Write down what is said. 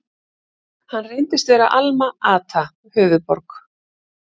Hann reyndist vera Alma-Ata, höfuðborg